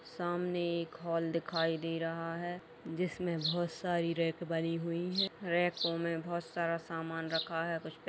सामने एक हॉल दिखाई दे रहा है जिसमें बहोत सारी रैक भरी हुई है। रैको में बहोत सारा सामान रखा है कुछ पैकेट --